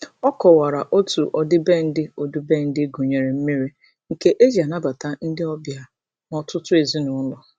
Ọ kọwara otu ọdịbendị ọdịbendị gụnyere mmiri, nke e ji anabata ndị ọbịa n'ọtụtụ ezinaụlọ.